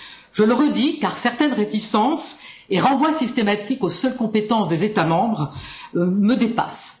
Je le redis car certaines réticences et le renvoi systématique aux seules compétences des États membres me dépassent.